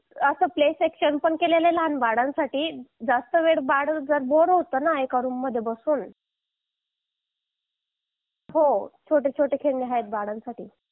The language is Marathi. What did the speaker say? लहान मुलांसाठी प्ले सेक्शन पण आहे जास्त वेळ बाळ होताना एका रूम मध्ये बसून हो छोटे छोटे खेळणे आहे बाळांसाठी